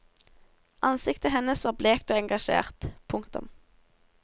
Ansiktet hennes var blekt og engasjert. punktum